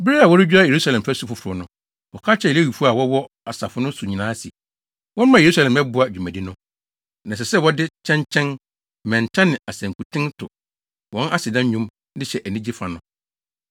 Bere a wɔredwira Yerusalem fasu foforo no, wɔka kyerɛɛ Lewifo a wɔwɔ asase no so nyinaa se, wɔmmra Yerusalem mmɛboa dwumadi no. Na ɛsɛ sɛ wɔde kyɛnkyɛn, mmɛnta ne asankuten to wɔn aseda nnwom de hyɛ anigye fa no.